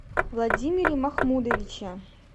владимире махмудовиче